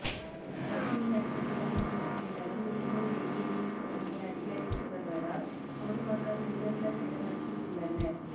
அக்னி நட்சத்திரம் முடிந்த பின்னரும் இன்னும் வெயிலின் கொடுமை அதிகரித்து வருவதால் பொதுமக்கள் மிகுந்த சிரமத்தில் உள்ளனர்